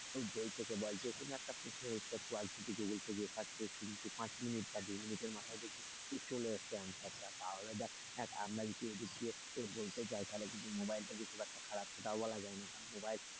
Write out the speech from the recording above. বই থেকে বল যেকোনো একটা প্রশ্নের উত্তর বল তুই যদি গুগল থেকে search করিস তুই পাঁচ minute এর মাথায় দেখবি ঠিক চলে এসেছে answer টা, তাহলে দেখ আমরা যদি গুছিয়ে বলতে যায় তাহলে কিন্তু mobile টা যে খুব একটা খারাপ সেটাও বলা যায় না, কারণ mobile,